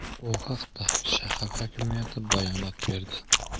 Bu haqda shahar hokimiyati bayonot berdi .